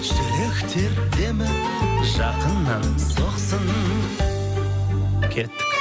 жүректер демі жақыннан соқсын кеттік